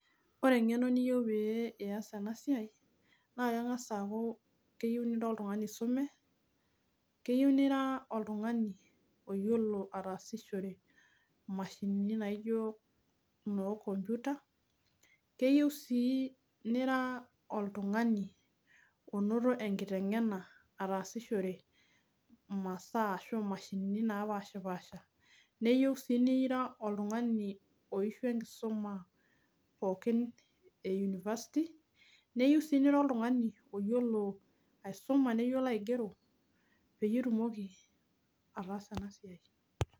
Ore engeno niyieu pee iyas ena siai ,naa kengas aaku keyieu nira oltungani oisume, keyieu ningas aaku oltungani oyiolo ataasishore mashinini naijo naakoputa ,keyieu sii nira oltungani onoto enkitengena otaasishore masaa ashu mashinini naapashipaasha. Neyieu sii nira oltungani oishua enkisuma pookin e university, neyeu sii nira oltungani oyiolo aisuma neyiolo aigero peyie itumoki ataasa ena siai.